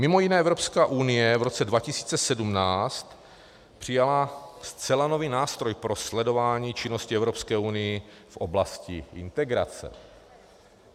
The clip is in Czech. Mimo jiné Evropská unie v roce 2017 přijala zcela nový nástroj pro sledování činnosti Evropské unie v oblasti integrace.